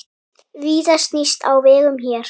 Víða snýst á vegum hér.